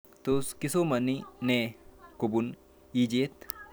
Tos kisomani nee kopun ichet